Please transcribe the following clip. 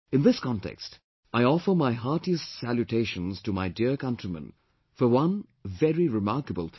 In this context, I offer my heartiest salutations to my dear countrymen for one very remarkable thing